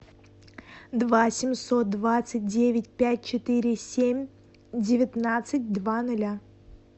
два семьсот двадцать девять пять четыре семь девятнадцать два ноля